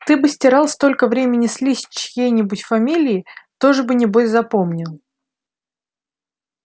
ты бы стирал столько времени слизь с чьей-нибудь фамилии тоже бы небось запомнил